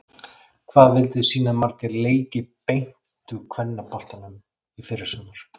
Hvað vilduð þið sýna marga leiki beint úr kvennaboltanum í fyrrasumar?